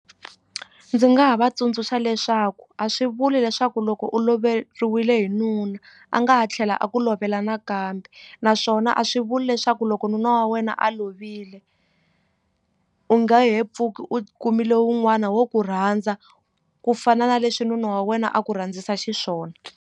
Ndzi nga ha va tsundzuxa leswaku a swi vuli leswaku loko u loveriwile hi nuna a nga ha tlhela a ku lovela nakambe naswona a swi vuli leswaku loko nuna wa wena a lovile u nge he pfuki u kumile wun'wana wo ku rhandza ku fana na leswi nuna wa wena a ku rhandzisa xiswona.